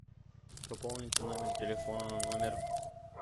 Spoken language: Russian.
пополните номер телефона номер